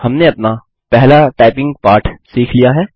हमने अपना पहला टाइपिंग पाठ सीख लिया है